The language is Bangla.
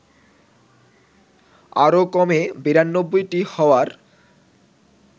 আরও কমে ৯২টি হওয়ার